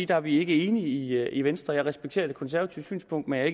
der er vi ikke enige i venstre jeg respekterer det konservative synspunkt men jeg